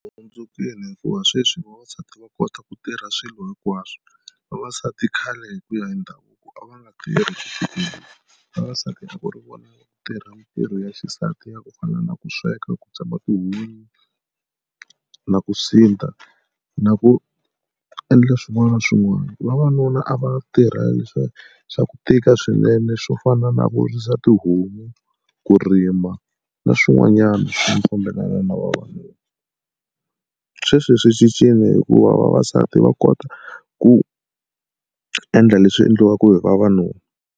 Hundzukile hikuva sweswi vavasati va kota ku tirha swilo hinkwaswo. Vavasati khale hi ku ya hi ndhavuko a va nga tirhi ku vavasati va ku ri vona va tirha mitirho ya xisati ya ku fana na ku sweka ku tsema tihunyi na ku sindza na ku endla swin'wana na swin'wana. Vavanuna a va tirha leswiya swa ku tika swinene swo fana na ku risa tihomu, ku rima na swin'wanyana swa ku fambelana na vavanuna. Sweswi swi cincile hikuva vavasati va kota ku endla leswi endliwaka hi vavanuna.